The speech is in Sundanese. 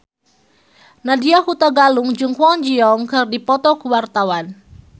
Nadya Hutagalung jeung Kwon Ji Yong keur dipoto ku wartawan